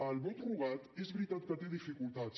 el vot rogat és veritat que té dificultats